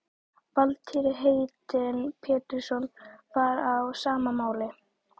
Valtýr heitinn Pétursson var á sama máli.